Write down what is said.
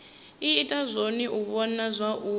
ita zwone u vhona zwauri